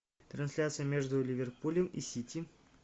трансляция между ливерпулем и сити